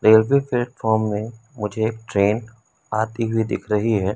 Railway platform में मुझे train आती हुई दिख रही है।